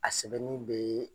A sɛbɛnni bɛ